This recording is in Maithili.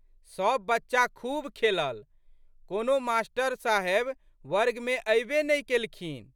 सब बच्चा खूब खेलल। कोनो मा.साहेब वर्गमे अयबे नहि केलखिन।